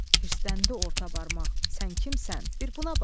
Hirsləndi orta barmaq: "Sən kimsən? Bir buna bax!"